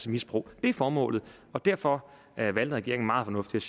misbrug det er formålet og derfor valgte regeringen meget fornuftigt